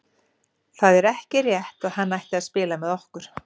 Það er ekki rétt að hann ætti að spila með okkur.